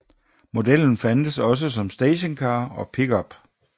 Modellen fandtes også som stationcar og pickup